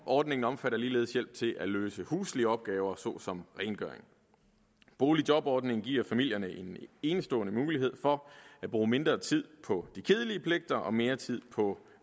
ordningen omfatter ligeledes hjælp til at løse huslige opgaver såsom rengøring boligjobordningen giver familierne en enestående mulighed for at bruge mindre tid på de kedelige pligter og mere tid på